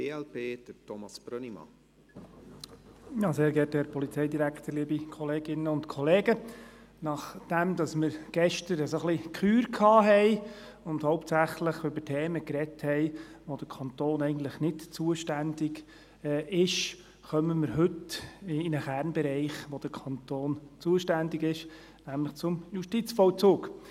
Nachdem wir gestern ein wenig die Kür hatten und hauptsächlich über Themen gesprochen haben, für die der Kanton eigentlich nicht zuständig ist, kommen wir heute in einen Kernbereich, wo der Kanton zuständig ist, nämlich zum Justizvollzug.